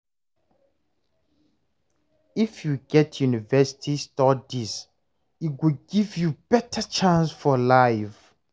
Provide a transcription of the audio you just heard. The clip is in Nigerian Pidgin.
If you get university studies, e go give you beta chance for life.